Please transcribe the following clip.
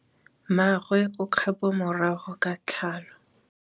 Mmagwe o kgapô morago ga tlhalô.